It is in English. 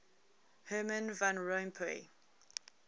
herman van rompuy